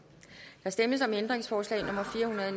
der stemmes om ændringsforslag nummer fire hundrede og